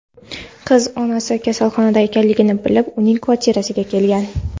Qizi onasi kasalxonada ekanligini bilib, uning kvartirasiga kelgan.